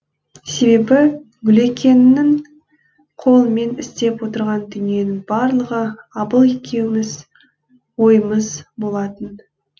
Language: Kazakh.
себебі гүлекеңнің қолымен істеп отырған дүниенің барлығы абыл екеуміз ойымыз болатын